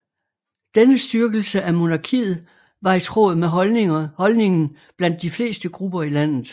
Denne styrkelse af monarkiet var i tråd med holdningen blandt de fleste grupper i landet